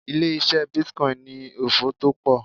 Ilé ise bitcoin ni òfò to pọ̀.